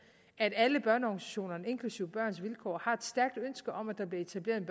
at alle børneorganisationerne inklusive børns vilkår har et stærkt ønske om at der bliver etableret en